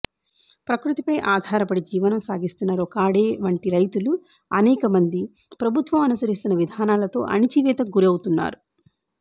ప్రక్రుతిపై ఆధారపడి జీవనం సాగిస్తున్న రొకాడే వంటి రైతులు అనేకమంది ప్రభుత్వం అనుసరిస్తున్న విధానాలతో అణచివేతకు గురవుతున్నారు